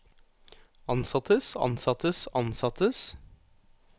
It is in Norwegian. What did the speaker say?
ansattes ansattes ansattes